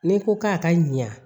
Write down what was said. N'i ko k'a ka ɲa